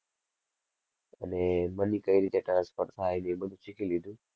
અને money કઈ રીતે transfer થાય ને એ બધુ શીખી લીધું.